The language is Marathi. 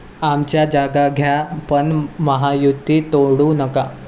आमच्या जागा घ्या पण महायुती तोडू नका'